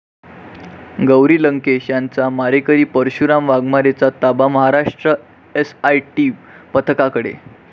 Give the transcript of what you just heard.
गौरी लंकेश यांचा मारेकरी परशुराम वाघमारेचा ताबा महाराष्ट्र एसआयटी पथकाकडे